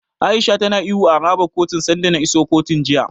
A'isha tana ihu a harabar kotun sanda na isa kotun, jiya.